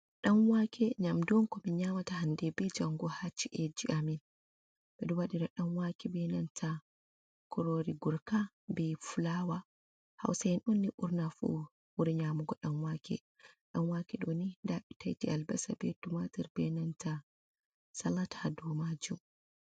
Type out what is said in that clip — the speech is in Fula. Ɗan waake, nyamdu on ko min nyamata hande be jaango haa ci'eji amin. Ɓe ɗo waɗira ɗan waake be nanta kuroori gurka be fulawa. Hausa'en on ni ɓurna fu ɓuri nyaamugo ɗan waake. Ɗan waake ɗo ni nda ɓe tiaiti albasa, be tumatir, be nanta salat haa dou maajum.